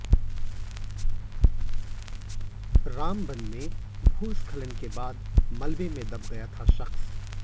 रामबन में भूस्खलन के बाद मलबे में दब गया था शख़्स